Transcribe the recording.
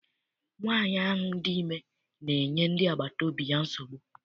Nwaanyi ahụ dị ime na-enye ndị agbata obi ya nsogbu.